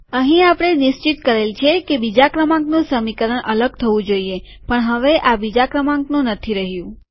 અહીં આપણે નિશ્ચિત કરેલ છે કે બીજા ક્રમાંકનું સમીકરણ અલગ થવું જોઈએ પણ હવે આ બીજા ક્રમાંકનું નથી રહ્યું